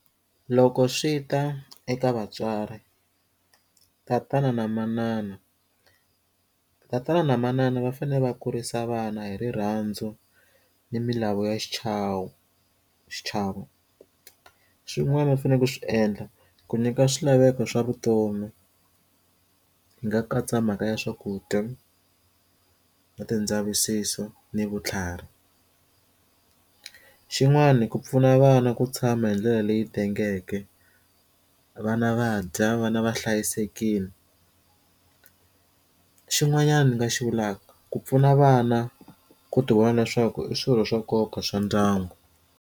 Loko swi ta eka vatswari tatana na manana tatana na manana va fanele va kurisa vana hi rirhandzu ni milawu ya xichavo xichavo swin'wana u fanele ku swi endla ku nyika swilaveko swa vutomi hi nga katsa mhaka ya swakudya na ti ndzavisiso ni vutlhari xin'wani ku pfuna vana ku tshama hi ndlela leyi tengeke vana va dya vana va hlayisekile xin'wanyana ndzi nga xi vulaka ku pfuna vana ku ti vona leswaku i swilo swa nkoka swa ndyangu.